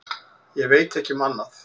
Ég veit ekki um annað.